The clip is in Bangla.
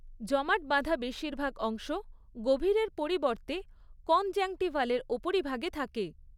জমাট বাঁধা বেশিরভাগ অংশ গভীরের পরিবর্তে কনজাংক্টিভালের ওপরিভাগে থাকে।